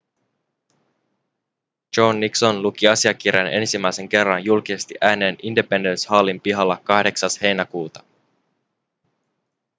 john nixon luki asiakirjan ensimmäisen kerran julkisesti ääneen independence hallin pihalla 8 heinäkuuta